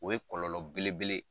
O ye kɔlɔlɔ belebele ye